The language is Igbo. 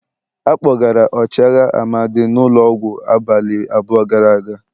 A kpọgara ọchịagha Amadi n'ulo ọgwụ abalị abụọ gara aga.